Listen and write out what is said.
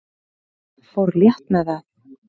Fór létt með það.